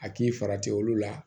A k'i farati olu la